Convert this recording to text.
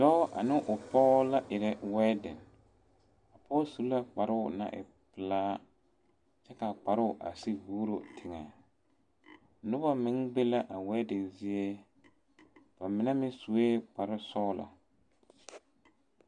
Dɔɔ ane o pɔge la erɛ wedding, a pɔge su la kparoo naŋ e pelaa kyɛ kaa kparoo a sigi vuuro teŋɛ , noba meŋ be la a wedding zie ba mine meŋ sue kpare sɔglɔ